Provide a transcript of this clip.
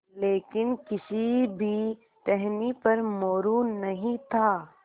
लेकिन किसी भी टहनी पर मोरू नहीं था